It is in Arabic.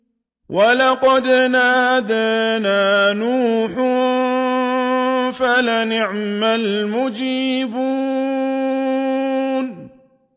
وَلَقَدْ نَادَانَا نُوحٌ فَلَنِعْمَ الْمُجِيبُونَ